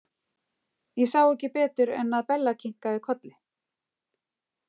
Ég sá ekki betur en að Bella kinkaði kolli.